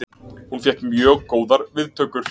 Hún fékk mjög góðar viðtökur